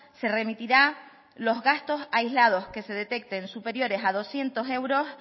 se remitirá los gastos aislados que se detecten superiores a doscientos euros